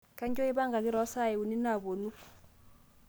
kainyoo eipangaki too saai uni napuonu